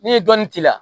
N'i ye dɔnni k'i la